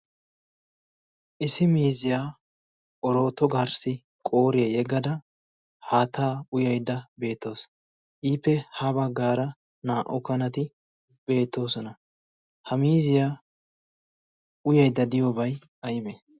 isi miziyaa orooto garssi qooriyaa yeggada haattaa uyaidda beettoos iippe ha baggaara naa"u kanati beettoosona. ha miziyaa uyaidda diyoobay aybe?